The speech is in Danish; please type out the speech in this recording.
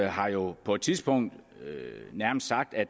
har jo på et tidspunkt nærmest sagt at